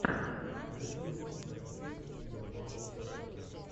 на ютубе рекфиц стэндофф сэконд